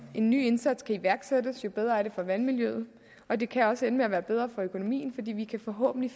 en ny indsats kan iværksættes jo bedre er det for vandmiljøet og det kan også ende med at være bedre for økonomien fordi vi forhåbentlig